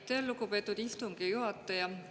Aitäh, lugupeetud istungi juhataja!